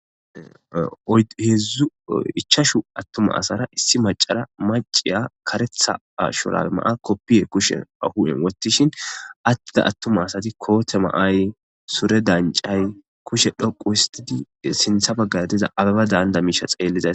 Ichashu atuma asara issi macara , maciya karetha shurabe Maya kopiye kusheni hu'en wothishin ada atuma asati koote ma'ayi , sure dancayi kushe dhoqu histid sintha bagara diza abeba daaniza misha xeelizysa